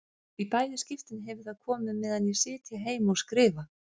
Í bæði skiptin hefur það komið meðan ég sit hér heima og skrifa.